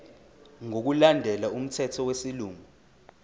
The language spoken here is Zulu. ngokulandela umthetho wesilungu